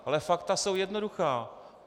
Ale fakta jsou jednoduchá.